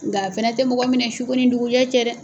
Nka a fɛnɛ tɛ mɔgɔ minɛ suko ni dugu jɛ cɛ dɛ.